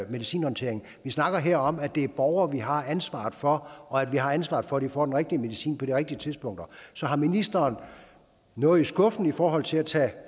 medicinhåndteringen vi snakker her om at det er borgere vi har ansvaret for og at vi har ansvaret for at de får den rigtige medicin på de rigtige tidspunkter så har ministeren noget i skuffen i forhold til at tage